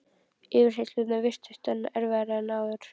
Yfirheyrslurnar virtust enn erfiðari en áður.